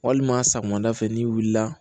Walima sɔgɔmada fɛ n'i wulila